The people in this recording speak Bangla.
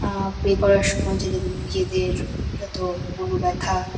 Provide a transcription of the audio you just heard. আ প্রে করার সময় যে যার নিজেদের যত মন ব্যাথা।